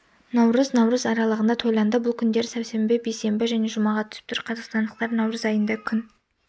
наурыз наурыз аралығында тойланады бұл күндер сәрсенбі бейсенбі және жұмаға түсіп тұр қазақстандықтар наурыз айында күн